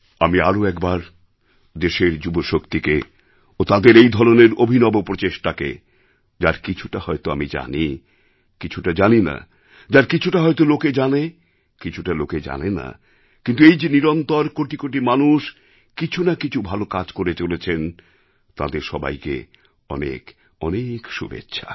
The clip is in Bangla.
আমি আরও একবার দেশের যুবশক্তিকে ও তাদের এই ধরনের অভিনব প্রচেষ্টাকে যার কিছুটা হয়ত আমি জানি কিছুটা জানি না যার কিছুটা হয়ত লোকে জানে কিছুটা লোকে জানে না কিন্তু এই যে নিরন্তর কোটি কোটি মানুষ কিছু না কিছু ভালো কাজ করে চলেছেন তাঁদের সবাইকে অনেক অনেক শুভেচ্ছা